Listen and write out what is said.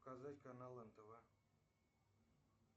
показать канал нтв